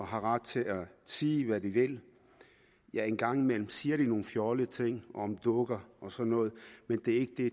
har ret til at sige hvad de vil engang imellem siger de nogle fjollede ting om dukker og sådan noget men det er